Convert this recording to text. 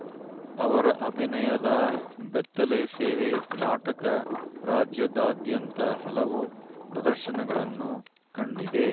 ಅವರ ಅಭಿನಯದ ಬೆತ್ತಲೆ ಸೇವೆ ನಾಟಕ ರಾಜ್ಯದಾದ್ಯಂತ ಹಲವು ಪ್ರದರ್ಶನಗಳನ್ನು ಕಂಡಿದೆ